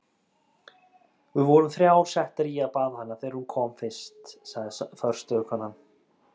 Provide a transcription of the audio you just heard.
Við vorum þrjár settar í að baða hana þegar hún kom fyrst, sagði forstöðukonan.